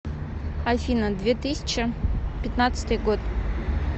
афина две тысяча пятнадцатый год